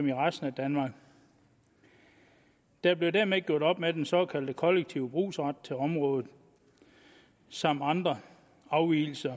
i resten af danmark der blev dermed gjort op med den såkaldte kollektive brugsret til området samt andre afvigelser i